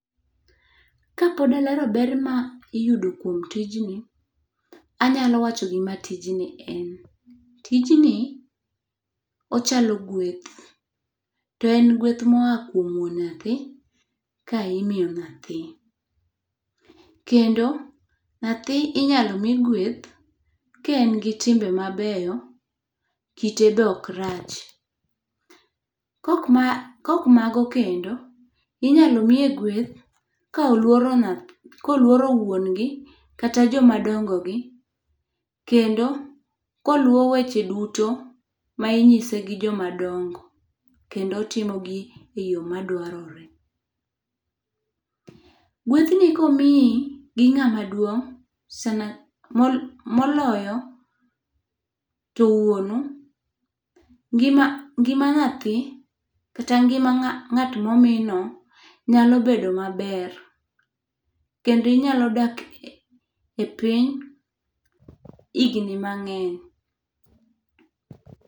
Kapod alero ber ma iyudo kuom tijni, anyalo wacho gima tijni en. Tijni ochalo gweth, to en gweth moa kuom wuon nyathi ka imiyo nyathi. Kendo nyathi inyalo mi gweth ka en gi timbe mabeyo, kite be okrach. Kok mago kendo, inyalo miye gweth ka oluoro wuon gi, kata jomadongo gi. Kendo koluwo weche duto ma inyise gi jomadongo. Kendo otimo gi e yo madwarore. Gwethni komiyi gi ng'amaduong' moloyo to wuonu, ngima nyathi kata ngima ng'at momino nyalo bedo maber. Kendo inyalo dak e piny higni mang'eny.